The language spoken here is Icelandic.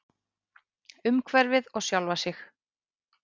Umhverfið og sjálfa sig.